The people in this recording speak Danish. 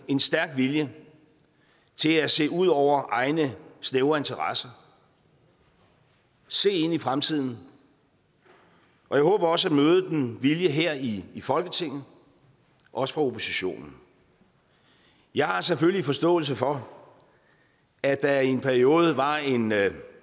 en stærk vilje til at se ud over egne snævre interesser se ind i fremtiden og jeg håber også at møde den vilje her i folketinget også fra oppositionen jeg har selvfølgelig forståelse for at der i en periode var en